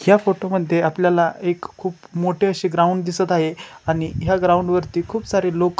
या फोटो मध्ये आपल्याला एक खुप मोठी अशी ग्राउंड दिसत आहे. आणि ह्या ग्राउंड वरती खुप सारे लोक.